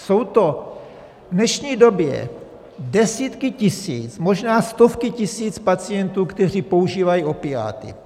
Jsou to v dnešní době desítky tisíc, možná stovky tisíc pacientů, kteří používají opiáty.